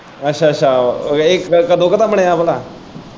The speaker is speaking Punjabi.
ਅੱਛਾ ਅੱਛਾ ਏਹ ਕਦੋਂ ਕ ਦਾ ਬਣਿਆ ਭਲਾ?